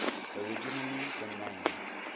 originally the name